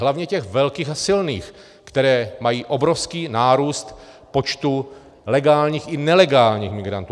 Hlavně těch velkých a silných, které mají obrovský nárůst počtu legálních i nelegálních migrantů.